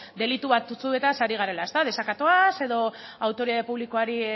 delitu batzuetaz ari garela desakatoaz edo autoritate publikoari